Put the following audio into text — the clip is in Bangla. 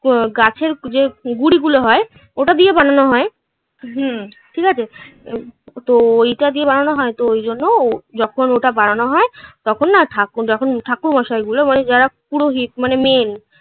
গাছের যে গুঁড়ি গুলো হয় ওটা দিয়ে বানানো হয়. হুম. ঠিক আছে তো এইটা দিয়ে বানানো হয় তো ওই জন্য ও যখন ওটা বানানো হয় তখন না ঠাকুর যখন ঠাকুরমশাই গুলো মানে যারা পুরো মানে main